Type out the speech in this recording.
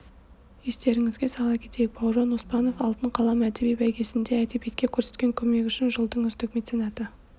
естеріңізге сала кетейік бауыржан оспанов алтын қалам әдеби бәйгесінде әдебиетке көрсеткен көмегі үшін жылдың үздік меценаты